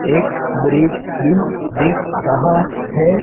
एक ब्रिज भी दिख रहा है।